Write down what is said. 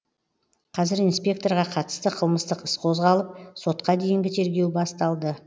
қазір инспекторға қатысты қылмыстық іс қозғалып сотқа дейінгі тергеу басталды